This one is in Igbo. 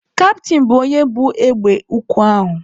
Kaptịn bụ onye bu egbe ukwu ahụ.